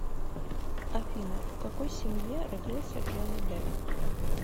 афина в какой семье родился джонни депп